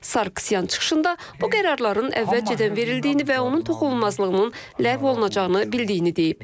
Sarkisyan çıxışında bu qərarların əvvəlcədən verildiyini və onun toxunulmazlığının ləğv olunacağını bildiyini deyib.